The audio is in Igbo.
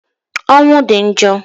Ọnwụ di njo